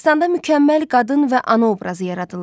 Dastanda mükəmməl qadın və ana obrazı yaradılıb.